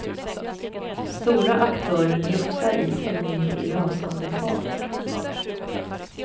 Stora aktörer glufsar i sig de mindre i rasande fart.